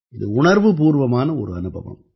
இது உணர்வுபூர்வமான ஒரு அனுபவம்